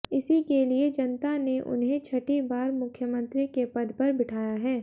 इसी के लिए जनता ने उन्हें छठी बार मुख्यमंत्री के पद पर बिठाया है